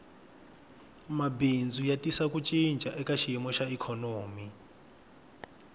mabindzu ya tisa ku cinca eka xiyimo xa ikhonomi